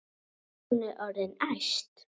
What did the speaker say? Hún er orðin æst.